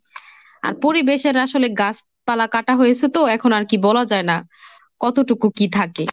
আর পরিবেশের আসলে গাছপালা কাটা হয়েছে তো এখন আর কি বলা যায় না কতটুকু কি থাকে।